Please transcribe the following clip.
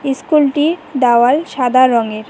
ইস্কুলটির দেওয়াল সাদা রঙের।